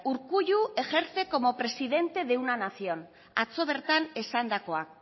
urkullu ejerce como presidente de una nación atzo bertan esandakoa